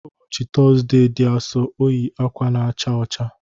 Ụbọchị Tọzdee dị Asọ, o yi akwa na-acha ọcha.